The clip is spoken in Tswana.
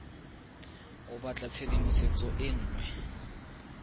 o batla tshedimosetso e nngwe